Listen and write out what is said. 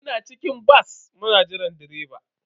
Muna cikin bas muna jiran direba.